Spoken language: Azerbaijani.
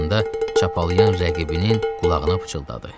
Altında çapalıyan rəqibinin qulağına pıçıldadı.